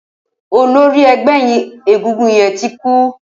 Ólóri ẹgbẹ égúngún yèn ti kú